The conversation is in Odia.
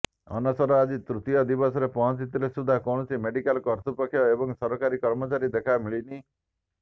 ଅନଶନ ଆଜି ତୃତୀୟ ଦିନରେ ପହଞ୍ଚିଥିଲେ ସୁଦ୍ଧା କୌଣସି ମେଡିକାଲ କର୍ତ୍ତୃପକ୍ଷ ଏବଂ ସରକାରୀ କର୍ମଚାରୀଙ୍କ ଦେଖା ମିଳିନି